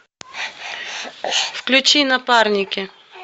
включи напарники